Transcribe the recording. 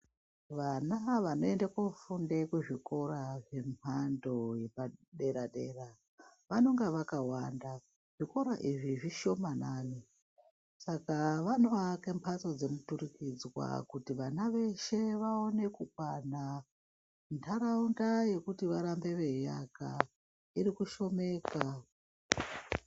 Vana vanoenda kofunda kuzvikora yemhando yepaderadera, vanonga vakawanda. Zvikora izvi zvishomanani, saka vanoaka mhatso dzemuturikidzwa kuti vana veshe vaone kukwana. Ndaraunda yekuti varambe veiaka irikushomeka.